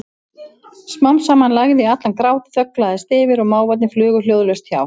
Smám saman lægði allan grát, þögn lagðist yfir og máfarnir flugu hljóðalaust hjá.